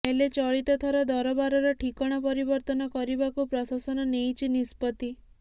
ହେଲେ ଚଳିତ ଥର ଦରବାରର ଠିକଣା ପରିବର୍ତ୍ତନ କରିବାକୁ ପ୍ରଶାସନ ନେଇଛି ନିଷ୍ପତି